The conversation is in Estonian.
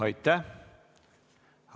Aitäh!